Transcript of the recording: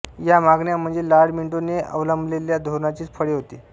या मागण्या म्हणजे लाड॔ मिंटोने अवलंबलेल्या धोरणाचीच फळे होती